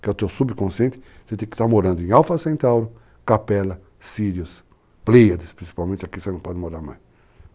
que é o teu subconsciente, você tem que estar morando em Alfa Centauri, Capela, Sirius, Pleiades, principalmente aqui você não pode morar mais.